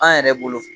An yɛrɛ bolo